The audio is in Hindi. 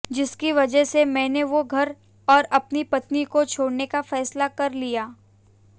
जिसकी वजह से मैंने वो घर और अपनी पत्नी को छोड़ने का फैसला कर लिया